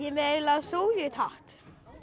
með eiginlega Sovét hatt